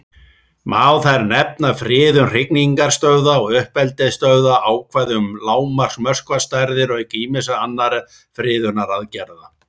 Má þar nefna friðun hrygningarstöðva og uppeldisstöðva, ákvæði um lágmarksmöskvastærðir, auk ýmissa annarra friðunaraðgerða.